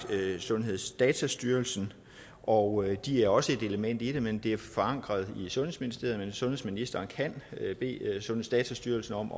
sundhedsdatastyrelsen og de er også et element i det men det er forankret i sundheds og ældreministeriet sundhedsministeren kan bede sundhedsdatastyrelsen om